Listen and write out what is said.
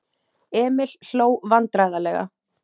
Emil hló vandræðalega.